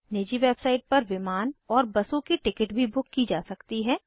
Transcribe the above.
निजी वेबसाइट पर विमान और बसों की टिकट भी बुक की जा सकती हैं